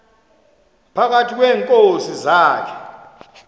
phakathi kweenkosi zakhe